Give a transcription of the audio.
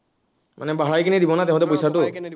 মানে বঢ়াই কিনে দিব না তাহাঁতে পইচাটো